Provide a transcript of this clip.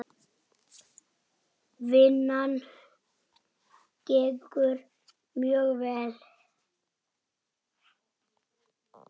Vinnan gengur mjög vel.